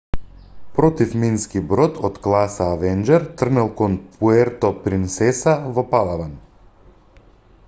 противмински брод од класа авенџер тргнал кон пуерто принсеса во палаван